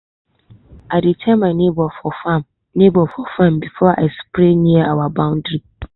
i dey tell my neighbor for farm neighbor for farm before i spray near our boundary.